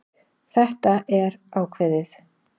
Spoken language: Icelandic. Þetta er ákveðið.